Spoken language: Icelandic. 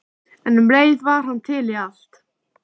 En um leið var hann til í allt.